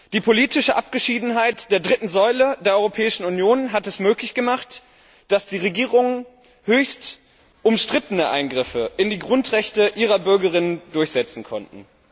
Die politische Abgeschiedenheit der dritten Säule der Europäischen Union hat es möglich gemacht, dass die Regierungen höchst umstrittene Eingriffe in die Grundrechte ihrer Bürgerinnen und Bürger durchsetzen konnten.